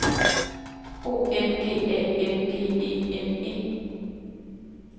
O M G A N G E N E